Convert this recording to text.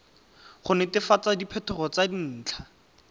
go netefatsa diphetogo tsa dintlha